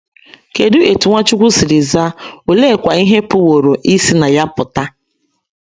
Kedụ etú Nwachukwu siri zaa, oleekwa ihe pụworo isi na ya pụta?